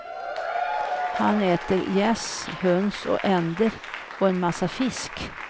Han äter gäss, höns och änder och en massa fisk.